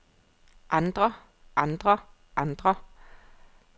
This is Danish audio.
andre andre andre